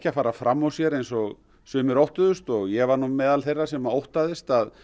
að fara fram úr sér eins og sumir óttuðust og ég var nú meðal þeirra sem óttaðist að